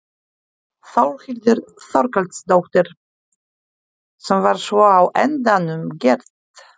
Þórhildur Þorkelsdóttir: Sem var svo á endanum gert?